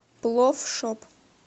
плофф шоп